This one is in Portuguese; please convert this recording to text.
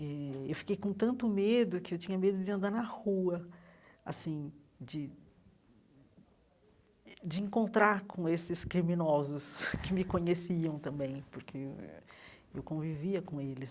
Eh eu fiquei com tanto medo que eu tinha medo de andar na rua assim, de eh de encontrar com esses criminosos que me conheciam também, porque eu convivia com eles.